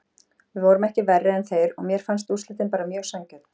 Við vorum ekki verri en þeir og mér fannst úrslitin bara mjög sanngjörn.